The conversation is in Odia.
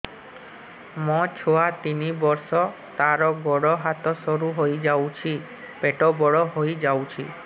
ମୋ ଛୁଆ ତିନି ବର୍ଷ ତାର ଗୋଡ ହାତ ସରୁ ହୋଇଯାଉଛି ପେଟ ବଡ ହୋଇ ଯାଉଛି